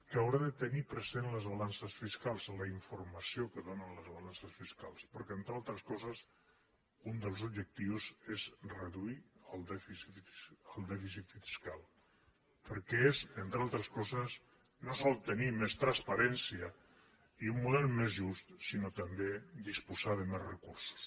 que haurà de tenir present les balances fiscals la informació que donen les balances fiscals perquè entre altres coses un dels objectius és reduir el dèficit fiscal que és entre altres coses no sols tenir més transparència i un model més just sinó també disposar de més recursos